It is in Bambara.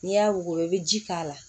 N'i y'a wuguba i bɛ ji k'a la